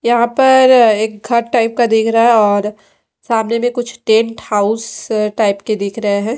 यहां पर एक घर टाइप का दिख रहा है और सामने में कुछ टेंट हाउस टाइप के दिख रहे हैं।